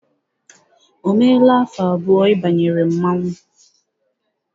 O meela afọ abụọ ị banyere mmọnwụ?